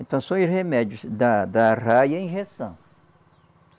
Então são os remédios da da arraia é a injeção.